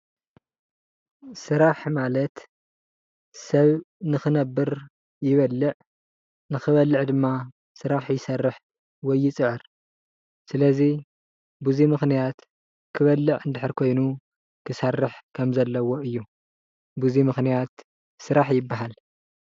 ስራሕ ማለት ሰብ ንክነብር ይበልዕ ንክበልዕ ድማ ስራሕ ይሰርሕ ወይ ይፅዕር፡፡ ስለዚ በዚ ምክንያት ክበልዕ እንድሕር ኮይኑ ክሰርሕ ከም ዘለዎ እዩ፡፡ በዚ ምክንያት ስራሕ ይባሃል፡፡